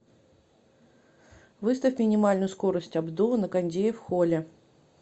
выставь минимальную скорость обдува на кондее в холле